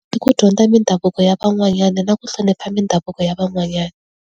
Hi ki dyondza mindhavuko ya van'wanyana na ku hlonipha mindhavuko ya van'wanyana.